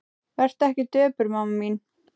Vertu ekki döpur mamma mín.